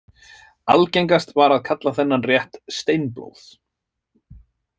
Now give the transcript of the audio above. Algengast var að kalla þennan rétt steinblóð.